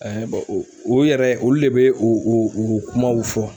o yɛrɛ olu le bɛ o o o kumaw fɔ.